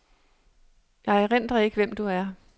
Jeg erindrer ikke, hvem du er.